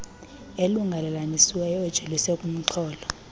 elungelelanisiweyo ejolise kumxholo